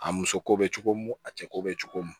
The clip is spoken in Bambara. A muso ko bɛ cogo min a cɛ ko bɛ cogo mun